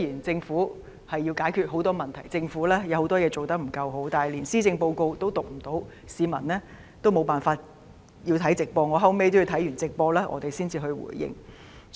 政府要解決很多問題，也有很多事情做得不夠好，但連施政報告也無法宣讀，市民也只能觀看直播，我自己也要看畢直播才能作出回應。